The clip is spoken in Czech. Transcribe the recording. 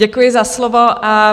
Děkuji za slovo.